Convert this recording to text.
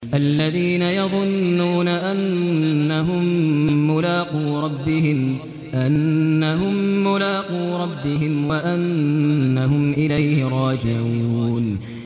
الَّذِينَ يَظُنُّونَ أَنَّهُم مُّلَاقُو رَبِّهِمْ وَأَنَّهُمْ إِلَيْهِ رَاجِعُونَ